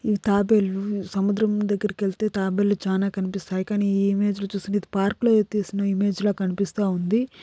ఈ తాబేలు సముద్రం దగ్గరికి వెళితే తాబేలు చాలా కనిపిస్తాయి కానీ ఈ ఇమేజ్ లో చూసింది అయితే ఉంటే ఇది పార్కు లో తీసిన ఇమేజ్ లా కనిపిస్తుంది.